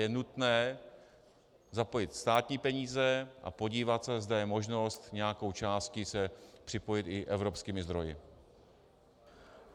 Je nutné zapojit státní peníze a podívat se, zda je možnost nějakou částí se připojit i evropskými zdroji.